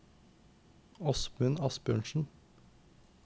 Åsmund Asbjørnsen